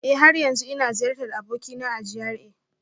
Eh, har yanzu ina ziyartar abokina a GRA